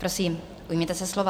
Prosím, ujměte se slova.